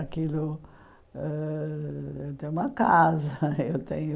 Aquilo ãh... Eu tenho uma casa, eu tenho...